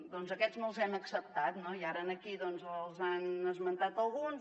doncs aquests no els hem acceptat no i ara aquí n’han esmentat alguns